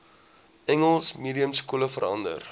engels mediumskole verander